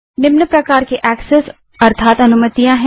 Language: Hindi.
निम्न प्रकार के ऐस्सेस या अनुमतियां हैं